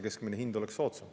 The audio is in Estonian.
Keskmine hind peaks olema soodsam.